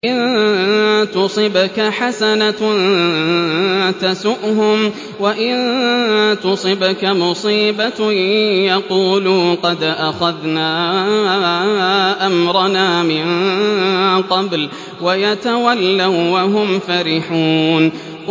إِن تُصِبْكَ حَسَنَةٌ تَسُؤْهُمْ ۖ وَإِن تُصِبْكَ مُصِيبَةٌ يَقُولُوا قَدْ أَخَذْنَا أَمْرَنَا مِن قَبْلُ وَيَتَوَلَّوا وَّهُمْ فَرِحُونَ